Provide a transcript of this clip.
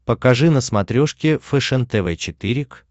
покажи на смотрешке фэшен тв четыре к